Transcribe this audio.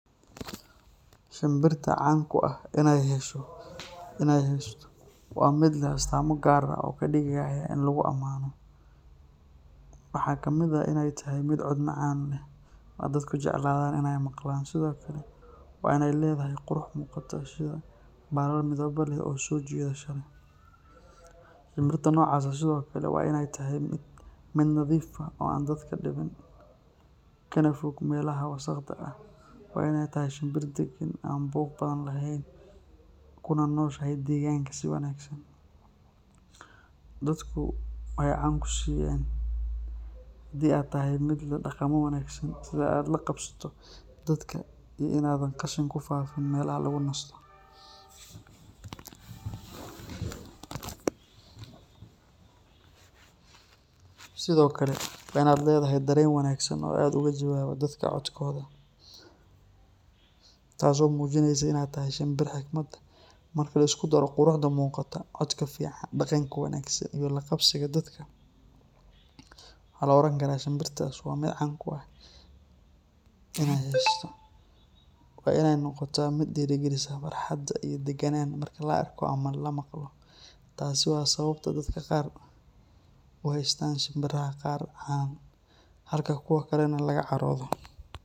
Shinbirta caan kuah inay hesho, wa mid leh astamo gaar ah oo kadigaya in laguamano, waxa kamid ah inay tahay mid cood macan leh, oo dadku jeclaadan iany maglaan Sidhokale wa inay ledahay qurux mugato si uu balal midibo leh oo sojidata, ahinbirta nocas aha Sidhokale wa in tahay mid nadif ah oo an dadka, kanafoog melaha wasaqda ah, wa inay tahay shinbir daqaan oo an buug bafan lehen, kunanoshahay deganka si wanagsan, dadku ay caan kusiyan hadi aad tahay mid dagamo wanagsan sibaad lagabsato dadka iyo inad qashin kufafin melaha lagunasto, Sidhokale wa inad ledaha daren wanagsan oo aad ugajawawo dadka codkoda, taas oo mujinaysa inay tahay shinbir higmad leh, marka liskudaro quruxda mugata codka fican habdaganka wangsan iyo lagabsiga dadka waha laorankara shinbirtas wa mid caan kuah, wa inay nogota mid diraagaliso farhada iyo daganan marak laarko ama lamaglo, taasi wa sababta dadka gaar uheustan shinbiraha qaar halka kuwa kalena lagacarodo.